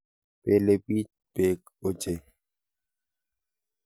Belebich beek ochei.